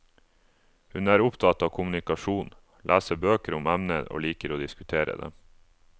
Hun er opptatt av kommunikasjon, leser bøker om emnet og liker å diskutere det.